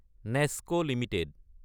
next Ltd